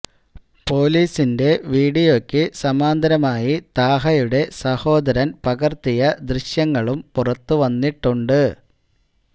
പോലീസിന്റെ വീഡിയോക്ക് സമാന്തരമായി താഹയുടെ സഹോദരൻ പകർത്തിയ ദൃശ്യങ്ങളും പുറത്ത് വന്നിട്ടുണ്ട്